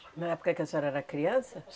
Na época que a senhora era criança?